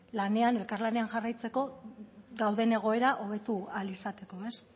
lanean elkarlanean jarraitzeko dauden egoera hobetu ahal izateko ez